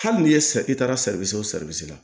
Hali n'i ye sa i taara o la